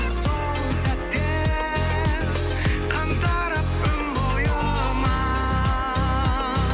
сол сәтте қан тарап өн бойыма